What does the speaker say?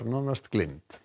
nánast gleymd